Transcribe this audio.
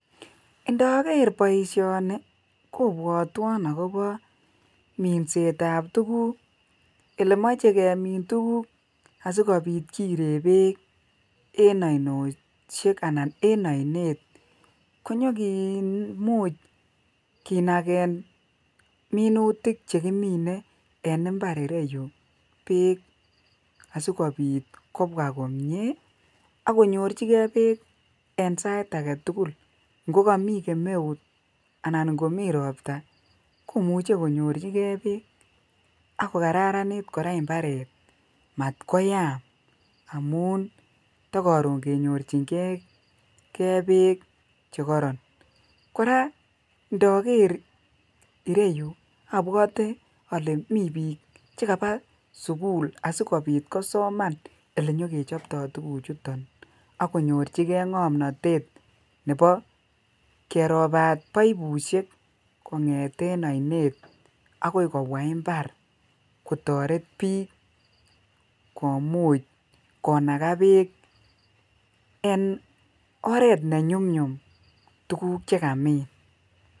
Indoker boishoni kobwotwon akobo minsetab tukuk elemoche kemin tukuk asikobit kiree beek en ainoshek anan en oinet konyokimuch kinaken minutik chekimine en imbar ireyu beek asikobit kobwa komnye ak konyorchikee beek en sait aketukul ng'o komii kemeut anan ko mii robta komuche konyorchike beek ak kokararanit kora mbaret mat koyam amun tokoron kenyorching'e Beek chekoron, kora ndoker ireyuu obwote olee mii biik chekaba sukul asikobit kosoman elenyokechopto tukuchuton ak konyorchike ng'omnotet nebo kerobat poipushek kong'eten oinet akoi kobwa imbar kotoret biik komuch konaka beek en oret ne nyumnyum tukuk chekamin.